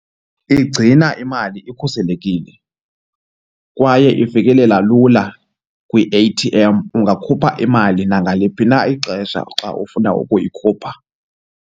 Igcina imali ikhuselekile kwaye ifikelela lula kwi-A_T_M ungakhupha imali nangaliphi na ixesha xa ufuna ukuyikhupha.